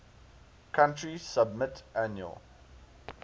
country submit annual